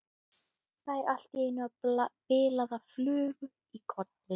Fær allt í einu bilaða flugu í kollinn.